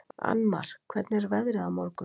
Annmar, hvernig er veðrið á morgun?